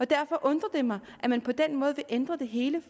derfor undrer det mig at man på den måde vil ændre det hele